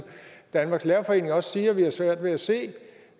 danmarks lærerforening også siger svært ved at se